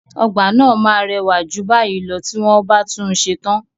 Ọgbà náà máa rẹwà jù báyìí lọ tí wọ́n bá tún un ṣe tán.